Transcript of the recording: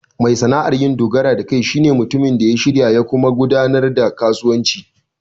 Mai sana'ar dogaro da kai shi ne mutumin da shirya ya kuma gudanar da kasuwanci.